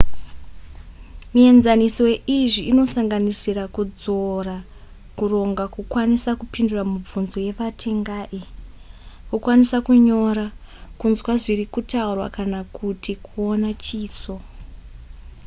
mienzaniso yeizvi inosanganisira kudzora kuronga kukwanisa kupindura mibvunzo yevatengai kukwanisa kunyora kunzwa zviri kutaurwa kana kuti kuona chiso